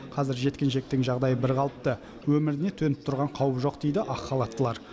қазір жеткіншектің жағдайы бірқалыпты өміріне төніп тұрған қауіп жоқ дейді ақ халаттылар